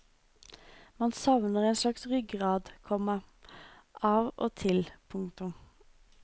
Man savner en slags ryggrad, komma av og til. punktum